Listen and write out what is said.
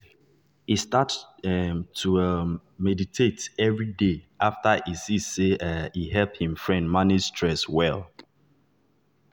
e start um to dey um meditate every day after e see say um e help him friend manage stress well.